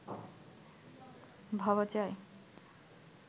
ভাবা যায়